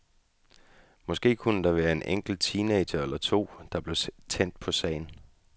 Måske kunne der være en enkelt teenager eller to, der blev tændt på sagen.